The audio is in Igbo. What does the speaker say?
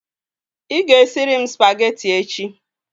Ị ga-esịrị m spagetị echi